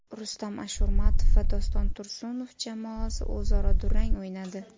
Rustam Ashurmatov va Doston Tursunov jamoasi o‘zaro durang o‘ynadi !